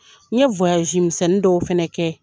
N ye misɛnnin dɔw fɛnɛ kɛ .